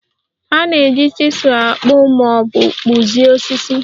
A na-eji chizul akpụ ma ọ bụ kpụzie osisi